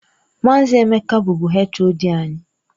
Maazị Emeka bụbu HOD anyị.